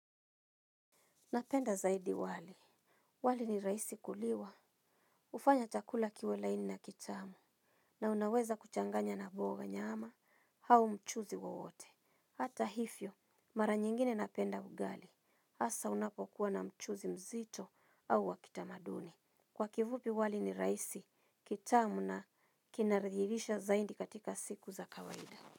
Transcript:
Napenda zaidi wali. Wali ni rahisi kuliwa. Hufanya chakula kiwe laini na kitamu. Na unaweza kuchanganya na mboga, nyama au mchuzi wowote. Hata hivyo mara nyingine napenda ugali hasa unapokuwa na mchuzi mzito au wa kitamaduni. Kwa kifupi wali ni rahisi, kitamu na kinarihirisha zaidi katika siku za kawaida.